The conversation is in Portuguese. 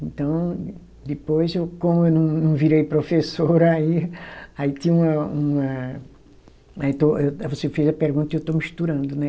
Então, depois eu, como eu não, não virei professora, aí, aí tinha uma, uma. Eu estou, você fez a pergunta e eu estou misturando, né?